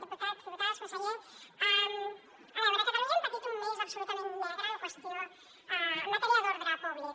diputats diputades conseller a veure a catalunya hem patit un mes absolutament negre en qüestió en matèria d’ordre públic